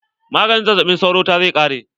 Maganin zazzaɓin sauron ta zai ƙare.